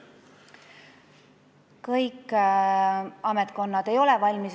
Kõik ametkonnad ei ole valmis.